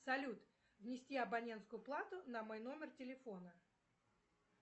салют внести абонентскую плату на мой номер телефона